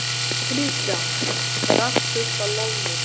Kristján: Er allt fullt af loðnu þar?